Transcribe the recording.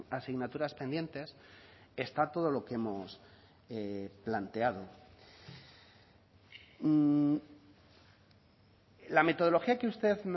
a asignaturas pendientes está todo lo que hemos planteado la metodología que usted